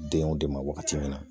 Denw de ma wagati min na